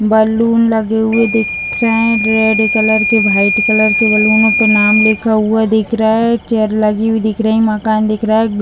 Balloon लगे हुए दिख रहे हैं रेड कलर के वाइट कलर के बैलूनों पे नाम लिखा हुआ दिख रहा है एक चेयर लगी हुई दिख रही मकान दिख रहा है।